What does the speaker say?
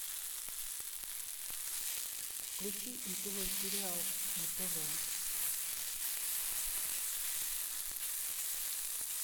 включи нтв сериал на тв